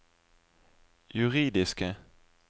juridiske